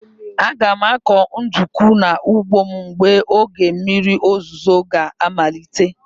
Aga m akụ ndụkụ n'ugbo m mgbe oge mmiri ozuzo ga amalite.